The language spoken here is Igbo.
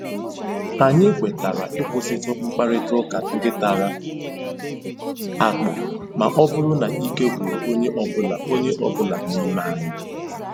Anyị kwetara ịkwụsịtụ mkparịta ụka ndị tara akpụ ma ọ bụrụ na ike gwụrụ onye ọ bụla onye ọ bụla n'ime anyị.